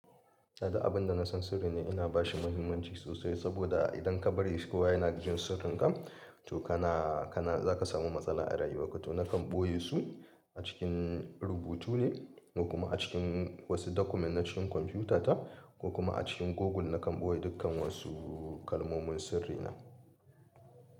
A duk abin da na san sirri ne ina bashi muhimmanci sosai saboda idan ka bari kowa yana jin sirrinka to kana, kana za ka samu matsala a rayuwa ka. To nakan ɓoye su a cikin rubutu ne kuma a cikin wasu document na cikin kwamfutata kokuma a cikin Google nakan ɓoye dukkan wasu kalmomin sirri na.